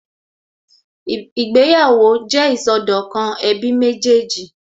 Ìgbéyàwó jẹ́ ìsọdọ̀kan ẹbí méjì